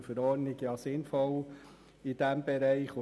Grundsätzlich ist eine Verordnung in diesem Bereich sinnvoll.